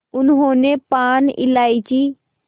उन्होंने पान इलायची